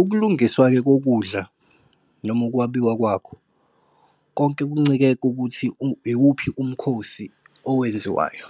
Ukulungiswa-ke kokudla, noma ukwabiwa kwakho, konke kuncike kukuthi iwuphi umkhosi owenziwayo.